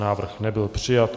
Návrh nebyl přijat.